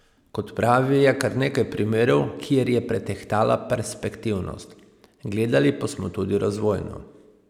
Kot pravi, je kar nekaj primerov, kjer je pretehtala perspektivnost: "Gledali pa smo tudi razvojno.